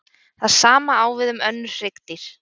Það sama á við um önnur hryggdýr.